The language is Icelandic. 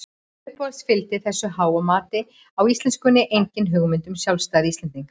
Upphaflega fylgdi þessu háa mati á íslenskunni engin hugmynd um sjálfstæði Íslendinga.